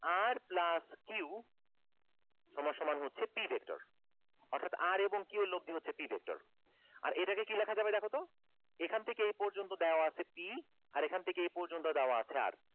r plus q সমান সমান হচ্ছে p vector অর্থাৎ r এবং q এর লব্দি হচ্ছে p vector আর এইটাকে কি লিখা যাবে দেখো তো এখান থেকে এই পর্যন্ত দেওয়া আছে p আর এখান থেকে এই পর্যন্ত দেওয়া আছে r